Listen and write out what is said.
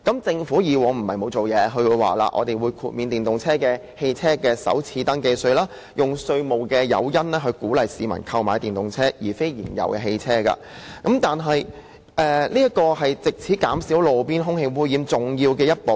政府以往不是沒有做實事，也曾提出豁免電動車首次登記稅，以稅務誘因鼓勵市民購買電動車而非燃油車，這亦是減低路邊空氣污染的重要一步。